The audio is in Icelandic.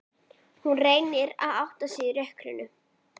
Hún reynir að átta sig í rökkrinu.